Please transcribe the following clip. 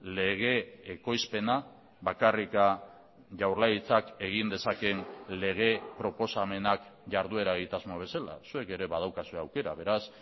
lege ekoizpena bakarrik jaurlaritzak egin dezakeen lege proposamenak jarduera egitasmo bezala zuek ere badaukazue aukera beraz